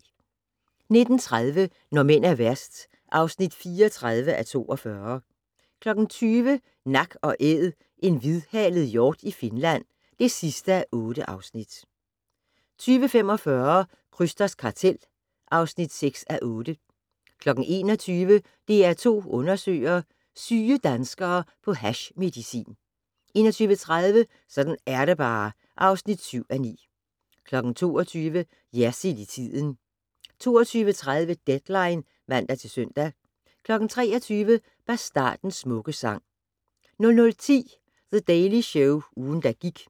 19:30: Når mænd er værst (34:42) 20:00: Nak & Æd - en hvidhalet hjort i Finland (8:8) 20:45: Krysters kartel (6:8) 21:00: DR2 Undersøger: Syge danskere på hashmedicin 21:30: Sådan er det bare (7:9) 22:00: Jersild i tiden 22:30: Deadline (man-søn) 23:00: Bastardens smukke sang 00:10: The Daily Show - ugen, der gik